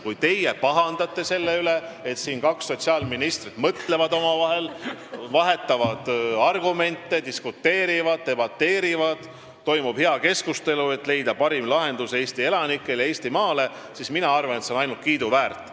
Kui teie pahandate selle üle, et kaks sotsiaalministrit siin omavahel mõtlevad, vahetavad argumente, diskuteerivad ja debateerivad, toimub hea keskustelu, et leida parim lahendus Eesti elanikele, Eestimaale, siis mina arvan, et see on ainult kiiduväärt.